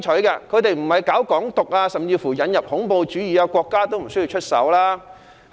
如果他們沒有搞"港獨"、甚至引入恐怖主義，國家也無須出手。